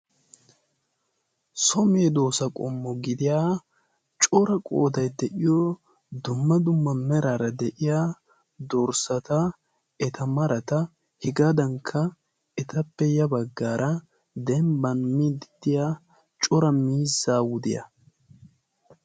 so meedoosa qommo gidiya cora qoodai de'iyo dumma dumma meraara de'iya dorssata eta marata hegaadankka etappe ya baggaara dembban midddiya cora miizzaa wudiyaa.